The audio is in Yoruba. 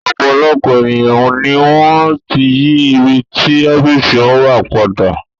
Ọ̀pọ̀lọpọ̀ èèyàn ni wọ́n ti yí ibi tí ọ́fíìsì wọn wà padà